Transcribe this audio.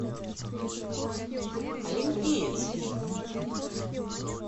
олимпиец